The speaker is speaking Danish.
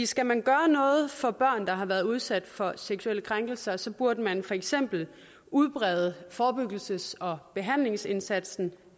skal man gøre noget for børn der har været udsat for seksuelle krænkelser så burde man for eksempel udbrede forebyggelses og behandlingsindsatsen